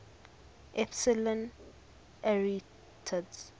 epsilon arietids